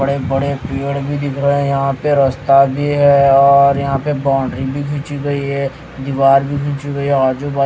बड़े-बड़ेपेड़ भी दिख रहे हैं यहां पे रास्ता भी है और यहां पे बाउंड्री भी खींची गई है दीवार भी खींची गई है।